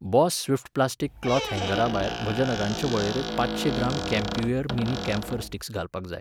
Boss swift plastic cloth हँगराभायर म्हज्या नगांचे वळेरेंत पांचशें ग्राम कॅम्प्युयर मिनी कॅम्फर स्टिक्स घालपाक जाय.